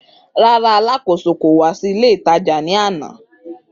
Rara, aláàkòso wa si ile itaja ni ana.